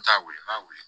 N t'a weele n b'a wele